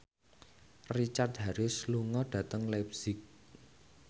Richard Harris lunga dhateng leipzig